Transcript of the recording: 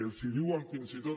els hi diuen fins i tot